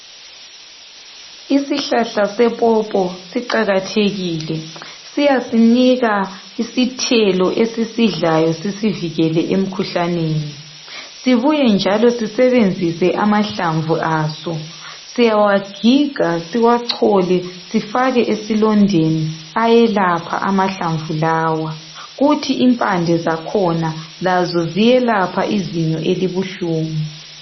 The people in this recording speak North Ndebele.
Isihlahla sepopo siqakathekile. Siyasinika isithelo esisidlayo. Sisivikele emkhuhlaneni. Sibuye njalo sisebenzise amahlamvu aso. Siyawagiga, siwachole sifake esilondeni. Ayelapha amahlamvu lawa. Kuthi impande zakhona, lazo ziyelapha izinyo elibuhlungu.